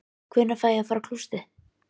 Hvenær fæ ég að fara á klósettið?